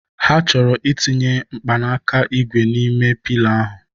Ha chọrọ ị tinye mkpanaka ígwè n'ime Piila ahụ